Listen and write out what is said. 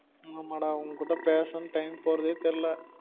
ஆமா டா உன்கிட்ட பேசு time போறதே தெர்ல